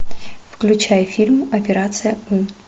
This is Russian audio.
включай фильм операция ы